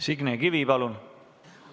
Signe Kivi, palun!